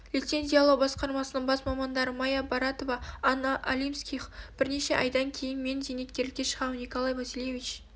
лицензиялау басқармасының бас мамандары майя баратова анна алимских бірнеше айдан кейін мен зейнеткерлікке шығамын николай васильевич